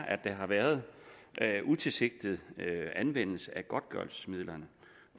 at der har været utilsigtet anvendelse af godtgørelsesmidlerne